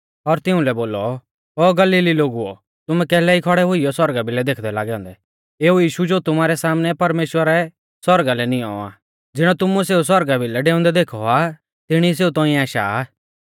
और तिउंलै बोलौ ओ गलीली लोगुओ तुमै कैलै ई खौड़ै हुइयौ सौरगा भिलै देखदै लागै औन्दै एऊ यीशु ज़ो तुमारै सामनै परमेश्‍वरै सौरगा लै निऔं आ ज़िणौ तुमुऐ सेऊ सौरगा भिलै डेऊंदै देखौ आ तिणी सेऊ तौंइऐ आशा आ